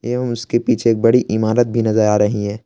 एवं उसके पीछे एक बड़ी इमारत भी नजर आ रही है।